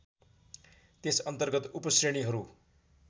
त्यस अर्न्तगत उपश्रेणीहरू